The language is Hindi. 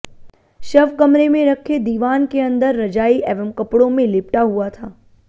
शव कमरे में रखे दीवान के अंदर रजाई एवं कपड़ों में लिपटा हुआ था